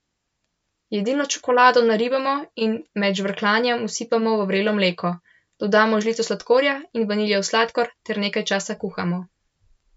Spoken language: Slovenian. Jedilno čokolado naribamo in med žvrkljanjem vsipamo v vrelo mleko, dodamo žlico sladkorja in vaniljev sladkor ter nekaj časa kuhamo.